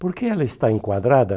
Por que ela está enquadrada?